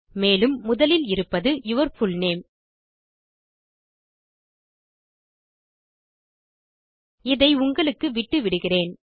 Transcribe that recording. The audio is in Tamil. மேலும் முதலில் இருப்பது யூர் புல்நேம் இதை உங்களுக்கு விட்டுவிட்டுகிறேன்